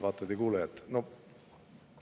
Vaatajad ja kuulajad!